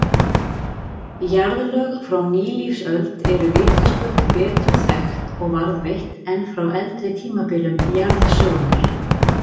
Jarðlög frá nýlífsöld eru vitaskuld betur þekkt og varðveitt en frá eldri tímabilum jarðsögunnar.